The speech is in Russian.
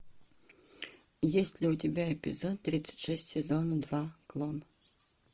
есть ли у тебя эпизод тридцать шесть сезона два клон